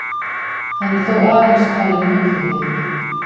Hann er þó aðeins talinn milliliður